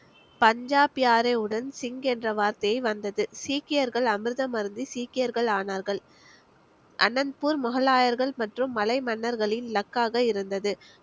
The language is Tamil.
பஞ்சாப் யாரேவுடன் சிங் என்ற வார்த்தை வந்தது சீக்கியர்கள் அமிர்தம் அருந்தி சீக்கியர்கள் ஆனார்கள் அனந்த்பூர் முகலாயர்கள் மற்றும் மலை மன்னர்களின் luck காக இருந்தது